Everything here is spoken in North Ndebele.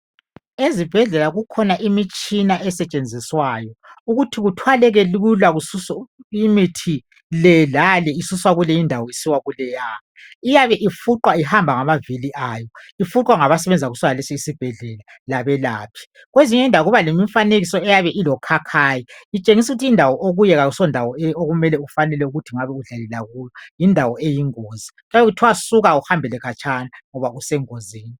Ezibhedlela kukhona imitshina esetshenziswayo ukuthi kuthwalekelula kususwe imithi lelale isuswa kule indawo isiya kuleya, iyabe ifuqwa ihamba ngavili ayo iyabe ifuqwa ngabasebenza kulesisibhedlela labelaphi, kwezinye indawo kuyabe kulomfanekiso eyabe ilokhakhayi itshengisa ukuthi indawo okiyo ayisiyo ofanele ukubakiyo yindawo eyingozi kuyabe kuthiwa suka uhambele khatshana ngoba usengozini.